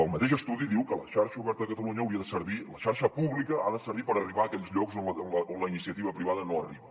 el mateix estudi diu que la xarxa oberta de catalunya la xarxa pública ha de servir per arribar a aquells llocs on la iniciativa privada no arriba